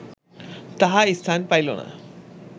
তাহা স্থান পাইল না